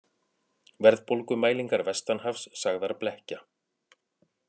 Verðbólgumælingar vestanhafs sagðar blekkja